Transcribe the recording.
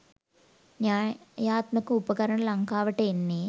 න්‍යායාත්මක උපකරණ ලංකාවට එන්නේ